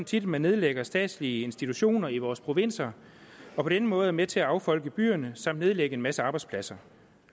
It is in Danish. tit at man nedlægger statslige institutioner i vores provins og på den måde er med til at affolke byerne samt nedlægge en masse arbejdspladser